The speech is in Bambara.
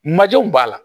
Majɔw b'a la